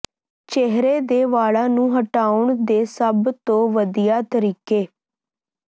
ਚਿਹਰੇ ਦੇ ਵਾਲਾਂ ਨੂੰ ਹਟਾਉਣ ਦੇ ਸਭ ਤੋਂ ਵਧੀਆ ਤਰੀਕੇ